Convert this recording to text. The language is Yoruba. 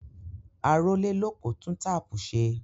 Arólélòpó tun tápù ṣe.